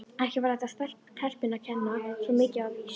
Ekki var þetta telpunni að kenna, svo mikið var víst.